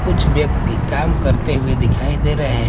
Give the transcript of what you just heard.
कुछ व्यक्ति काम करते हुए दिखाई दे रहे हैं।